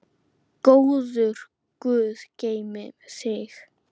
Góður guð geymi þig.